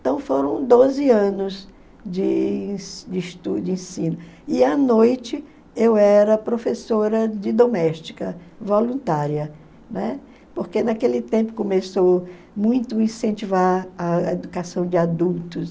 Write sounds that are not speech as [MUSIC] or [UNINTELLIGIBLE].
Então foram doze anos de [UNINTELLIGIBLE] de ensino e à noite eu era professora de doméstica voluntária, né, porque naquele tempo começou muito incentivar a educação de adultos.